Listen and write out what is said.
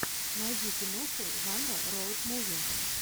найди киноху жанра роуд муви